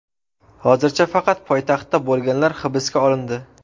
Hozircha faqat poytaxtda bo‘lganlar hibsga olindi.